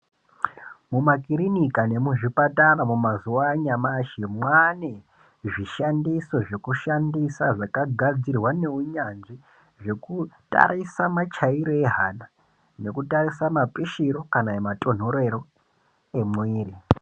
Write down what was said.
Mumakirinika nemumazvipatara mumazuwa anyamashi, mwaane zvishandiso zvekushandisa zvakagadzirwa neunyanzvi zvekutarisa machaire ehana ,nekutarisa mapishiro kana matonherero ,emwiiri.